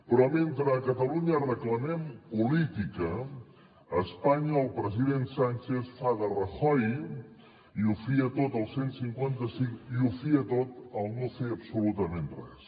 però mentre a catalunya reclamem política a espanya el president sánchez fa de rajoy i ho fia tot al cent i cinquanta cinc i ho fia tot al no fer absolutament res